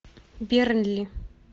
бернли